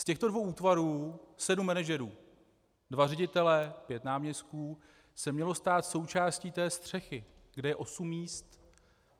Z těchto dvou útvarů sedm manažerů - dva ředitelé, pět náměstků - se mělo stát součástí té střechy, kde je osm míst.